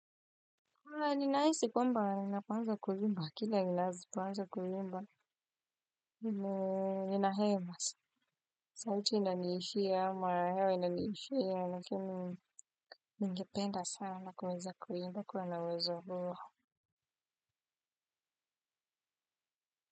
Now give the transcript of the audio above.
Ninahisi kwamba ninapo anza kuimba, kila ninapoanza kuimba, ninahema sana. Sauti inaniishia, mara hewa inaniishia, lakini ningependa sana kuweza kuimba kuwa na uwezo huo.